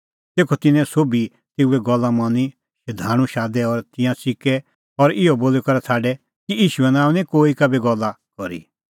तेखअ तिन्नैं सोभी तेऊए गल्ला मनी शधाणूं शादै और तिंयां च़िकै और इहअ बोली करै छ़ाडै कि ईशूए नांओंआं दी निं कोही का भी गल्ला करी